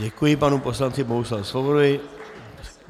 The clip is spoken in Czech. Děkuji panu poslanci Bohuslavu Svobodovi.